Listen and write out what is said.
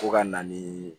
Fo ka na ni